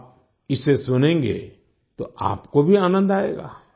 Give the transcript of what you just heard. आप इसे सुनेंगे तो आपको भी आनंद आएगा